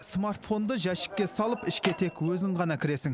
смартфонды жәшікке салып ішке тек өзің ғана кіресің